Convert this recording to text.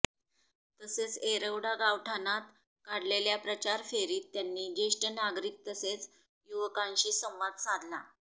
तसेच येरवडा गावठाणात काढलेल्या प्रचार फेरीत त्यांनी ज्येष्ठ नागरिक तसेच युवकांशी संवाद साधला